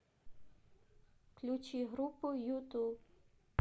включи группу юту